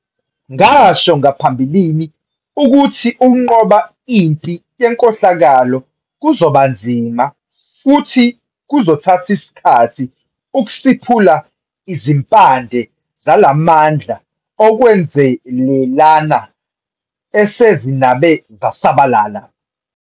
Ngasho ngaphambilini ukuthi ukunqoba impi yenkohlakalo kuzoba nzima, futhi kuzothatha isikhathi ukusiphula izimpande zalamandla okwenzelelana esezinabe zasabalala.